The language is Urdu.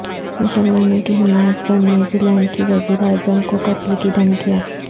مسلمانوں کی حمایت پر نیوزی لینڈ کی وزیراعظم کو قتل کی دھمکیاں